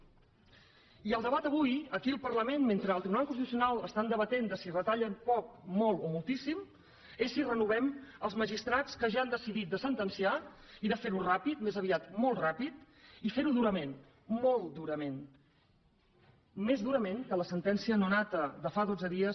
i el debat avui aquí al parlament mentre al tribunal constitucional estan debatent de si retallen poc molt o moltíssim és si renovem els magistrats que ja han decidit de sentenciar i de fer ho ràpid més aviat molt ràpid i fer ho durament molt durament més durament que la sentència no nada de fa dotze dies